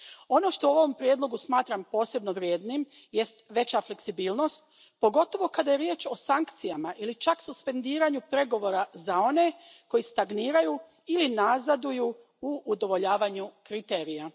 Ono što u ovom prijedlogu smatram posebno vrijednim jest veća fleksibilnost, pogotovo kada je riječ o sankcijama ili čak suspendiranju pregovora za one koji stagniraju ili nazaduju u udovoljavanju kriterijima.